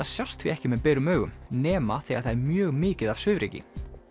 sjást því ekki með berum augum nema þegar það er mjög mikið af svifryki